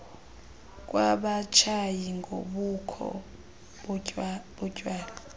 kwabatshayi nobukho botywala